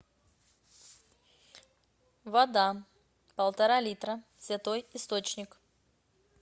вода полтора литра святой источник